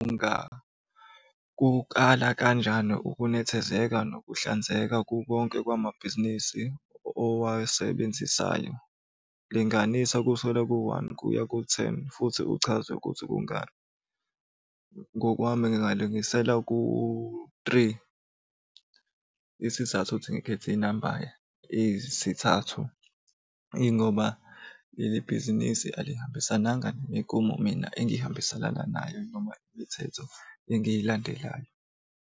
Kukala kanjani ukunethezeka nokuhlanzeka kukonke kwamabhizinisi owasebenzisayo? Linganisa kusukela ku-one kuya ku-ten, futhi kuchazwe ukuthi kungani. Ngokwami ngingalingisela ku-three, isizathu ukuthi ngikhethe inamba eyisithathu, ingoba leli bhizinisi alihambisananga nemigomo mina engihambiselana nayo noma imithetho engiyilandelayo.